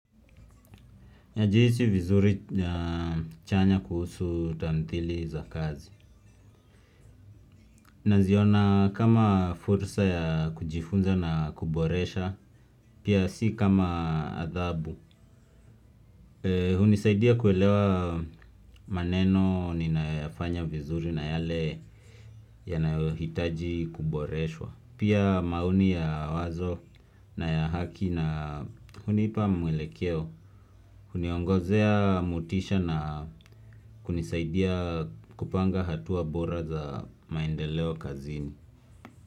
Najihisi vizuri na chanya kuhusu tamthili za kazi. Naziona kama fursa ya kujifunza na kuboresha pia si kama adhabu. Hunisaidia kuelewa maneno ninayoyafanya vizuri na yale yanayohitaji kuboreshwa. Pia maoni ya wazo na ya haki na hunipa mwelekeo. Huniongozea motisha na kunisaidia kupanga hatua bora za maendeleo kazini.